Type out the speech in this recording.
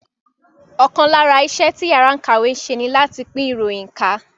Ọ̀kan lára iṣẹ́ tí yàrá ìkàwé ń ṣe ní láti pín ìròyìn ká